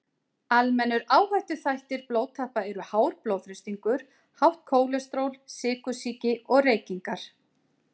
Almennir áhættuþættir blóðtappa eru hár blóðþrýstingur, hátt kólesteról, sykursýki og reykingar.